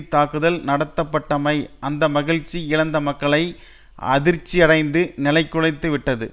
தாக்குதல் நடத்தப்பட்டமை அந்த மகிழ்ச்சி இழந்த மக்களை அதிர்ச்சியடைந்து நிலைகுலைத்துவிட்டது